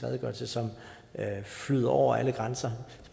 redegørelse som flyder over alle grænser